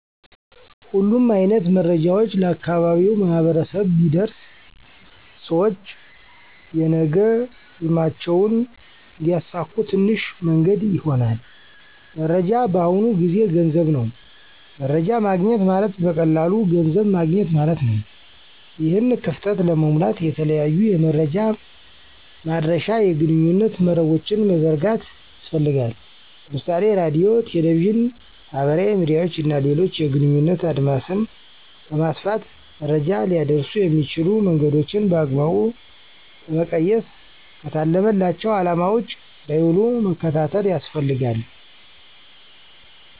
ሁሉም አይነት መረጃዎች ለአካባቢው ማህበረሰብ ቢደርስ ሰውች የነገ ህልማቸውን እንዲያሳኩ ትንሹ መንገድ ይሆናል። መረጃ በአሁኑ ጊዜ ገንዘብ ነው። መረጃ ማግኘት ማለት በቀላሉ ገንዘብ ማገኘት ማለት ነው። ይህን ክፍተት ለመሙላት የተለያዩ የመረጃ ማድረሻ የግንኙነት መረቦችን መዘርጋት ያስፈልጋል። ለምሳሌ ራድዮ፣ ቴሌቪዥን፣ ማህበራዊ ሚድያዎች እና ሌሎችን የግንኙነት አድማስን በማስፋት መረጃ ሊያደርሱ የሚችሉ መንገዶችን በአግባቡ በመቀየስ ከታለመላቸው አለማ ውጭ እንዳይዉሉ መከታተል ያስፈልጋል።